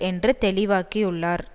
என்று தெளிவாக்கியுள்ளார்